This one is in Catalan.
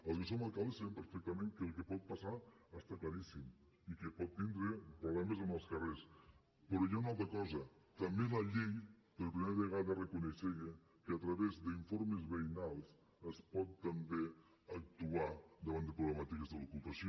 els que som alcaldes sabem perfectament que el pot passar està claríssim i que pot tindre problemes en els carrers però hi ha una altra cosa també la llei per primera vegada reconeixia que a través d’informes veïnals es pot també actuar davant de problemàtiques de l’ocupació